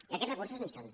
i aquests recursos no hi són